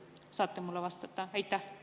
Kas saate mulle vastata?